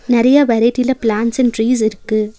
நெறையா வெரைட்டில plants and trees இருக்கு.